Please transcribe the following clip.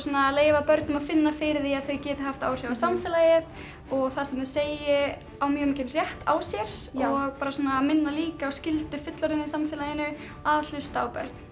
að leyfa börnum að finna fyrir því að þau geti haft áhrif á samfélagið og það sem þau segi eigi mjög mikinn rétt á sér og minna líka á skyldu fullorðinna í samfélaginu að hlusta á börn